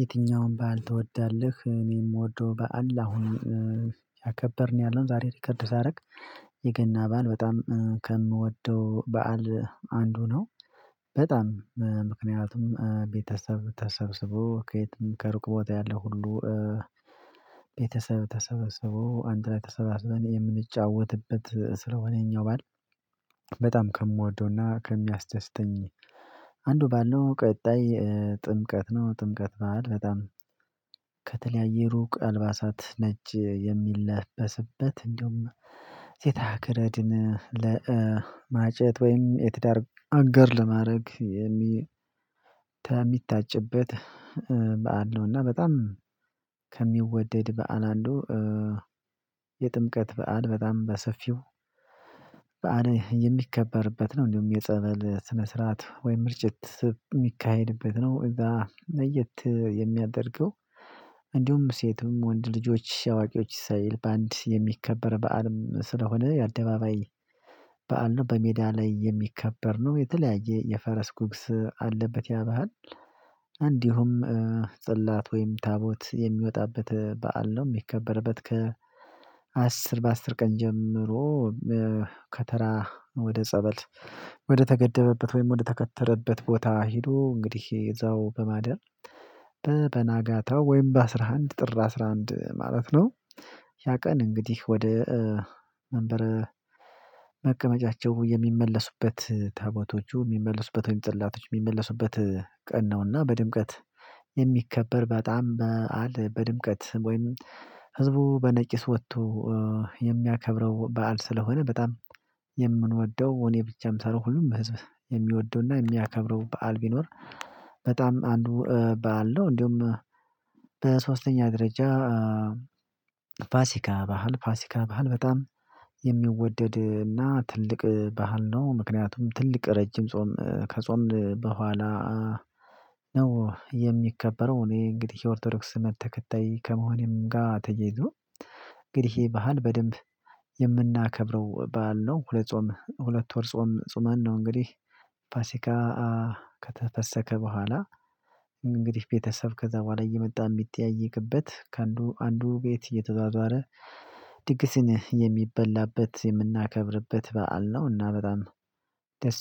የትኛውም በዓል ትወዳለህ? እኔ የምወደው በዓል አሁን እያከበርን ያለውን ዛሬ ሪከርድ ሳደርግ የገና በዓል በጣም ከምወደው በዓል አንዱ ነው። በጣም ቤተሰብ ተሰብስቦ ከየትም ከሩቅ ቦታ ያለው ሁሉ። ቤተሰብ ተሰበስቦ አንድ ላይ ተሰባስበን የምንጫወትበት ስለሆነኛው ማለት በጣም ከምወደውና ከሚያስደስተኝ። አንዱ ባለው ቀጣይ ጥምቀት ነው። ጥምቀት በዓል በጣም ከተለያየ ሩቅ አልባሳት ነጭ የሚለበስበት እንደውም ገረድን ለማጨት ወይም የትዳር አገር ለማድረግ የሚ የሚታጭበት በዓል ነው። እና በጣም ከሚወደድ በዓል አንዱ። የጥምቀት በዓል በጣም በሰፊው በዓል የሚከበርበት ነው። እንደውም የጸበል ስነ ስርዓት ወይም ምርጭት የሚካሄድበት ነው። እዛ ለየት የሚያደርገው። እንዲሁም ሴትም ወንድ ልጆች አዋቂዎች ሳይል በአንድ የሚከበር በዓልም ስለሆነ የአደባባይ በዓል ነው። በሜዳ ላይ የሚከበር ነው የተለያየ የፈረስ ጉግስ አለበት። ያባል እንዲሁም ጽላት ወይም ታቦት የሚወጣበት በዓል ነው። የሚከበርበት ከ አስር በአስር ቀን ጀምሮ ከተራ ወደ ጸበል ወደ ተገደበበት ወይም ወደ ተከተረበት ቦታ ሄዶ እንግዲህ እዛው በማደር በበናጋታው ወይም በአስራ አንድ ጥር አስራ አንድ ማለት ነው። ያ ቀን እንግዲህ ወደ መንበረ መቀመጫቸው የሚመለሱበት ታቦቶቹ የሚመልሱበት ወይም ጽላቶች የሚመለሱበት ቀን ነውና። በድምቀት የሚከበር በጣም በዓል በድምቀት ወይም ህዝቡ በነቂስ ወጥቶ የሚያከብረው በዓል ስለሆነ። በጣም የምንወደው እኔ ብቻም ሳልሆን ሁሉም በህዝብ የሚወደውና የሚያከብረው በዓል ቢኖር በጣም አንዱ በዓል ነው። እንደውም በሶስተኛ ደረጃ ፋሲካ ባህል ፋሲካ ባህል በጣም የሚወደድና ትልቅ ባህል ነው። ምክንያቱም ትልቅ ረጅም ጾም ከጾምን በኋላ ነው የሚከበረው። እኔ እንግዲህ የኦርቶዶክስ እምነት ተከታይ ከመሆኔም ጋር ተያይዞ። እንግዲህ ይሄ ባህል በደንብ የምናከብረው ባዓል ነው። ሁለት ጾም ሁለት ወር ጾም ጾመን ነው። እንግዲህ ፋሲካ ከተፈሰከ በኋላ እንግዲህ ቤተሰብ ከዛ በኋላ እየመጣ የሚጠያየቅበት ከአንዱ አንዱ ቤት እየተዟዟረ ድግስን የሚበላበት የምናከብርበት በዓል ነው። እና በጣም ደስ